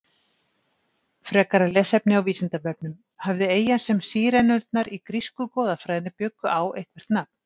Frekara lesefni á Vísindavefnum: Hafði eyjan sem Sírenurnar í grísku goðafræðinni bjuggu á eitthvert nafn?